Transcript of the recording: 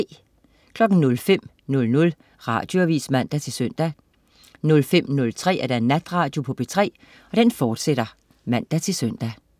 05.00 Radioavis (man-søn) 05.03 Natradio på P3, fortsat (man-søn)